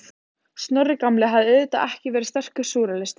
Snorri gamli hafði auðvitað ekki verið sterkur súrrealisti.